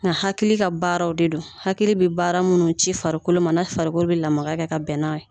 Nga hakili ka baaraw de don hakili bi baara munnu ci farikolo ma na farikolo bi lamaga kɛ ka bɛn n'a ye